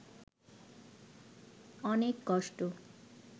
অনেক কষ্ট